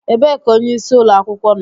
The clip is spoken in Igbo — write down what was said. Ebee ka onyeisi ụlọ akwụkwọ nọ